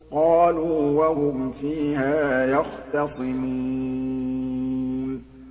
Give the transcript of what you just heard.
قَالُوا وَهُمْ فِيهَا يَخْتَصِمُونَ